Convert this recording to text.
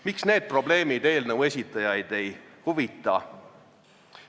Miks need probleemid eelnõu esitajaid ei huvita?